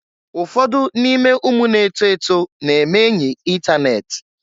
Ụfọdụ n'ime ụmụ na-eto eto na-eme enyị itanet.